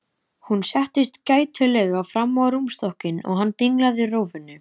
Hún settist gætilega fram á rúmstokkinn og hann dinglaði rófunni.